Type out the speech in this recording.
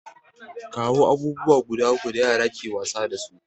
Kawo abubuwa guda uku da yara ke wasa dasu?